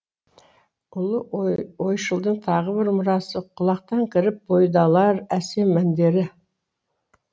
ұлы ойшылдың тағы бір мұрасы құлақтан кіріп бойды алар әсем әндері